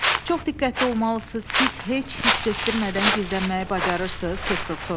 Çox diqqətli olmalısınız, siz heç hiss etdirmədən gizlənməyi bacarırsınız, Pentsel soruşdu.